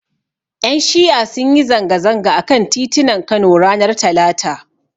Ƴan Shi'a sun yi zanga-zanga a kan titunan Kano ranar Talata.